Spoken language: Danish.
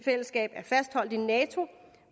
er fastholdt i nato